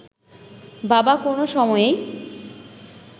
বাবা কোনো সময়েই